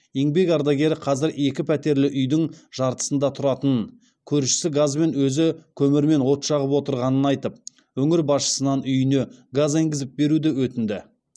еңбек ардагері қазір екі пәтерлі үйдің жартысында тұратынын көршісі газбен өзі көмірмен от жағып отырғанын айтып өңір басшысынан үйіне газ енгізіп беруді өтінді